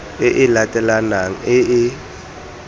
e e latelanang e e